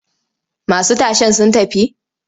Masu tashen sun tafi?